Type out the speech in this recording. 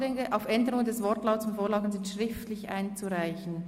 «Anträge auf Änderungen des Wortlauts von Vorlagen sind schriftlich einzureichen».